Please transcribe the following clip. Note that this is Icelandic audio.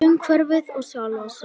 Umhverfið og sjálfa sig.